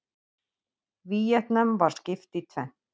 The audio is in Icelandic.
Víetnam var skipt í tvennt.